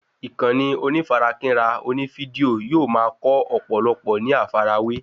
Ìkànnì onífarakínra oní fídíò yóò ma kọ́ ọ̀pọ̀lọpọ̀ ní àfàrawé